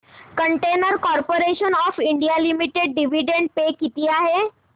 container corporation of India limited dividend pay किती आहे